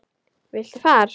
Viltu far?